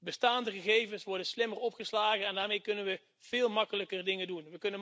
Bestaande gegevens worden slimmer opgeslagen en daarmee kunnen we veel makkelijker dingen doen.